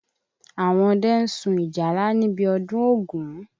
Àwọn ọdẹ ń sùn ìjálá níbi ọdún ògún.